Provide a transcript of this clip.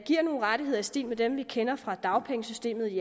giver nogle rettigheder i stil med dem vi kender fra dagpengesystemet